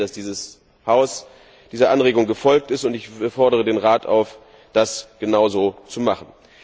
Ich freue mich sehr, dass dieses Haus dieser Anregung gefolgt ist und fordere den Rat auf, das genauso zu machen.